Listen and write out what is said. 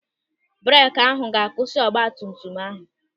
Breeki ahụ ga-akwụsị ọgbatumtum ahụ.